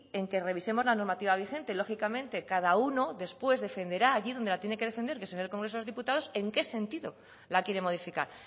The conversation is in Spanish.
en que revisemos la normativa vigente lógicamente cada uno después defenderá allí donde la tiene que defender que es en el congreso de los diputados en qué sentido la quiere modificar